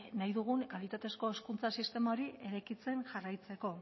nahi dugun kalitatezko hezkuntza sistema eraikitzen jarraitzeko